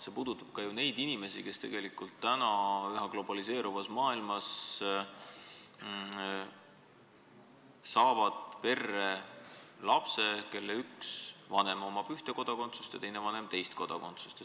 See puudutab ka neid inimesi, kes saavad üha enam globaliseeruvas maailmas perre lapse, kelle ühel vanemal on üks kodakondsus ja teisel vanemal teine kodakondsus.